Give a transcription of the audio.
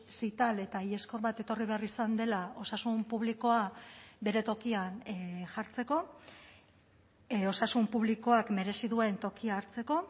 zital eta iheskor bat etorri behar izan dela osasun publikoa bere tokian jartzeko osasun publikoak merezi duen tokia hartzeko